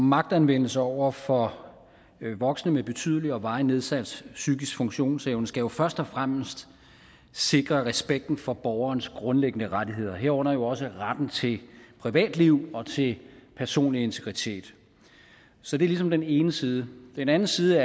magtanvendelse over for voksne med betydelig og varigt nedsat psykisk funktionsevne skal jo først og fremmest sikre respekten for borgerens grundlæggende rettigheder herunder jo også retten til privatliv og til personlige integritet så det er ligesom den ene side den anden side